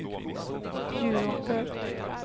Bjuråker